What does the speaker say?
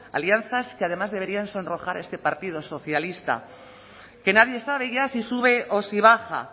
alianzas que además deberían sonrojar a este partido socialista que nadie sabe ya si sube o si baja